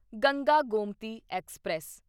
Ganga Gomti express